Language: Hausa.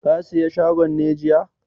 Ka saye shagon ne jiya?